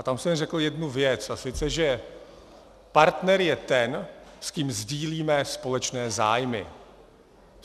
A tam jsem řekl jednu věc, a to že partner je ten, s kým sdílíme společné zájmy.